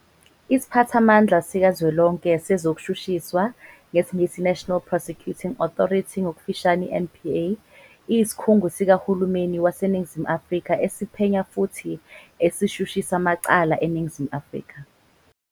Isiphathamandla sikaZwelonke sezokuShushiswa, isiNgisi- "National Prosecuting Authority", ngokufushane- i-NPA, iyisikhungo sikaHulumeni waseNingizimu Afrika esiphenya futhi esishushisa amacala eNingizimu Afrika.